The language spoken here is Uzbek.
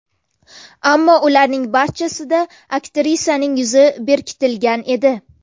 Ammo ularning barchasida aktrisaning yuzi berkitilgan edi.